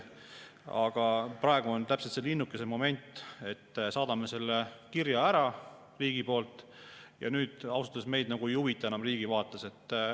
Aga praegu on täpselt see linnukese moment, et saadame selle kirja ära riigi poolt ja ausalt öelda enam see meid riigi vaates ei huvita.